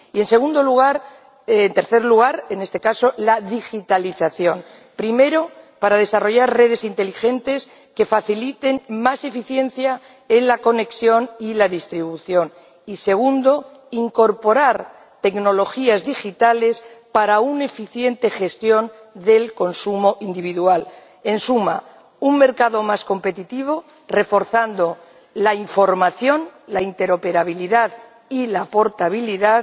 Y, en tercer lugar, la digitalización primero, para desarrollar redes inteligentes que faciliten más eficiencia en la conexión y la distribución y, segundo, para incorporar tecnologías digitales que permitan una gestión eficiente del consumo individual. En suma, un mercado más competitivo, reforzando la información, la interoperabilidad y la portabilidad,